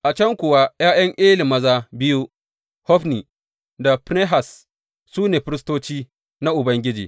A can kuwa ’ya’yan Eli maza biyu, Hofni da Finehas su ne firistoci na Ubangiji.